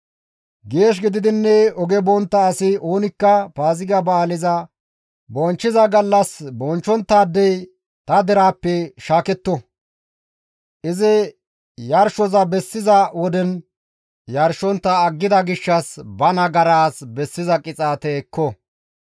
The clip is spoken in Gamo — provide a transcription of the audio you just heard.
Geesh gididinne oge bontta asi oonikka Paaziga ba7aaleza bonchchiza gallas bochchonttaadey ta deraappe shaaketto; izi yarshoza bessiza woden yarshontta aggida gishshas ba nagaraas bessiza qixaate ekko.